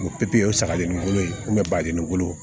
O pipiɲari sagalen ni kolo baden ni wolo